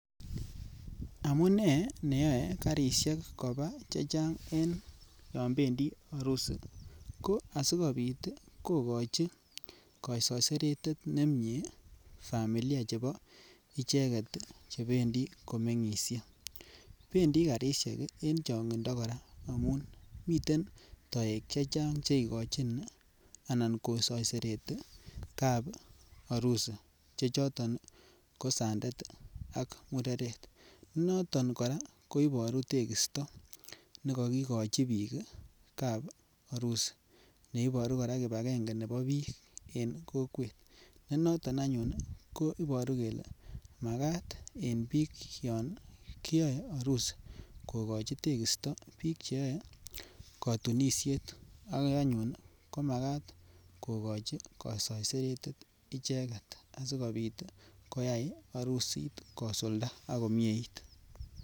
Amune neyoe karishek kobaa chechang yobendi arusi ko asikopit kogochi ko soiseretet nemie familia chebo icheget chebendi komengishe, bendii karishek en chongindo koraa amun miten toek chechang che igochin anan ko soiseretee kotap arusi che choton ii ko sandet ak mureret, ko noton koraa koboru tekisto ne kokigochi biik kap arusi ne iboru koraa kibangenge nebo biik en kokwet ne noton anyun ne iboru kelee makat en biik yon kiyoe arusi kogochi tekisto biik che yoe kotunishet ko anyun ko makat ko gochi kosoiseretet icheget asikopit koyay arusit kosulda ak komieit